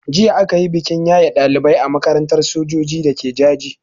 Jiya a kayi bikin yaye ɗalibai a makarantar sojoji dake Jaji.